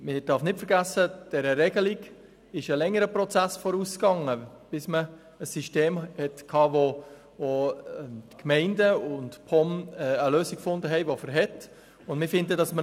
Man darf nicht vergessen, dass dieser Regelung ein längerer Prozess vorausging, bis man ein System hatte, mit dem die Gemeinden und die POM nun eine schlüssige Lösung gefunden haben.